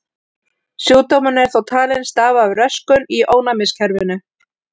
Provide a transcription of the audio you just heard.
Sjúkdómurinn er þó talinn stafa af röskun í ónæmiskerfinu.